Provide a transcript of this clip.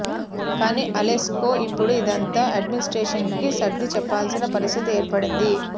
కానీ ఆలెక్స్కు ఇప్పుడు ఇదంతా ఎడ్మినిస్ట్రేషన్కి సర్ది చెప్పాల్సిన పరిస్థితి ఏర్పడింది